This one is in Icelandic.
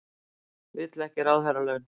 Vill ekki ráðherralaun